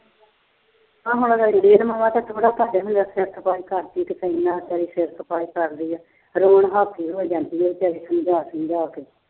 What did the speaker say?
ਹਾਂ ਹੁਣ ਬਥੇਰਾ ਘਰਦਿਆਂ ਨਾਲ ਸਿਰ ਖਪਾਈ ਕਰਦੀ। ਆਪਣੀ ਤੱਸਲੀ ਨਾਲ ਸਿਰ ਖਪਾਈ ਕਰਦੀ ਆ। ਰੋਜ ਅਹ ਹੋਈ ਜਾਂਦੀ ਆ ਵਿਚਾਰੀ ਸਮਝਾ-ਸਮਝਾ ਕੇ।